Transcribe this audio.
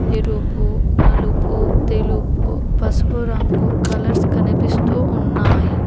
ఎరుపు నలుపు తెలుపు పసుపు రంగు కలర్స్ కనిపిస్తూ ఉన్నాయి.